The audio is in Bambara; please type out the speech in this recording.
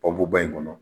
Pɔbuba in kɔnɔ